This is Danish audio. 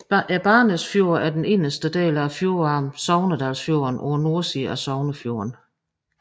Barsnesfjorden er den inderste del af fjordarmen Sogndalsfjorden på nordsiden af Sognefjorden